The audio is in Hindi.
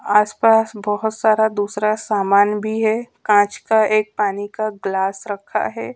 आसपास बहोत सारा दूसरा सामान भी है कांच का एक पानी का ग्लास रखा है।